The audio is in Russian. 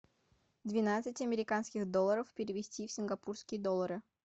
двенадцать американских долларов перевести в сингапурские доллары